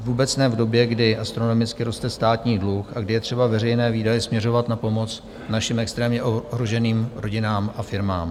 Vůbec ne v době, kdy astronomicky roste státní dluh a kdy je třeba veřejné výdaje směřovat na pomoc našim extrémně ohroženým rodinám a firmám.